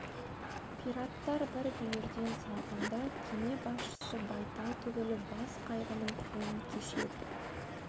пираттар бір бүйірден салғанда кеме басшысы байтал түгілі бас қайғының күйін кешеді